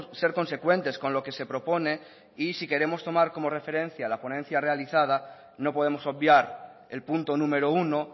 ser consecuentes con lo que se propone y si queremos tomar como referencia la ponencia realizada no podemos obviar el punto número uno